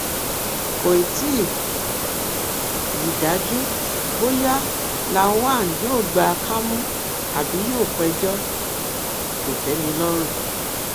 kò tí um ì dájú bóyá lawan yóò gba kámú àbí yóò péjọ um kòtẹmilọrùn